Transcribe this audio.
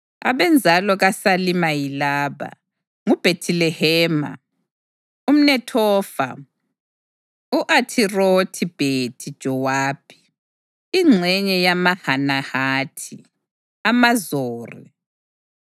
Abenzalo kaSalima yilaba: nguBhethilehema, umNethofa, u-Athirothi-Bhethi-Jowabi, ingxenye yamaManahathi, amaZori,